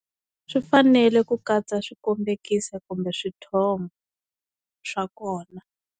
Swi fanele ku katsa swikombekiso kumbe swithombe swa kona.